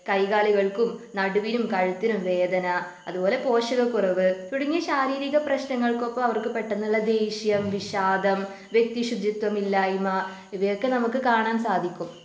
കൈകാലുകൾക്കും നടുവിനും കഴുത്തിനും വേദന അതുപോലെ പോഷകക്കുറവ് തുടങ്ങിയ ശാരീരിക പ്രശ്നങ്ങൾക്കൊപ്പം അവർക്ക് പെട്ടെന്നുള്ള ദേഷ്യം വിഷാദം വ്യക്തി ശുചിത്വമില്ലായ്മ ഇവയൊക്കെ നമുക്ക് കാണാൻ സാധിക്കും.